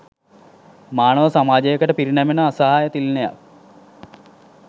මානව සමාජයකට පිරිනැමෙන අසහාය තිළිණයක්